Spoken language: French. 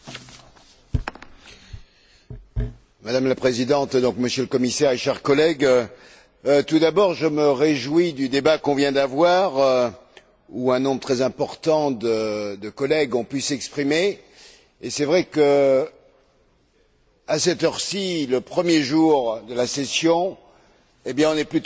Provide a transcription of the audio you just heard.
Madame la Présidente, Monsieur le Commissaire, chers collègues, tout d'abord je me réjouis du débat que nous venons d'avoir, où un nombre très important de collègues ont pu s'exprimer et il est vrai qu'à cette heure ci, le premier jour de la session, nous sommes plutôt assez nombreux pour ce débat, ce qui montre l'intérêt